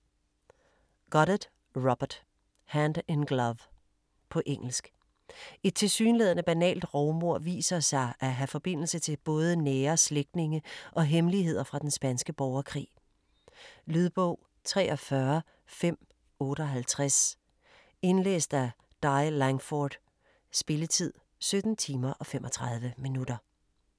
Goddard, Robert: Hand in glove På engelsk. Et tilsyneladende banalt rovmord viser sig at have forbindelse med både nære slægtninge og hemmeligheder fra den spanske borgerkrig. Lydbog 43558 Indlæst af Di Langford. Spilletid: 17 timer, 35 minutter.